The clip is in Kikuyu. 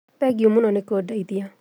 Thengiũmũno nĩkũndeithia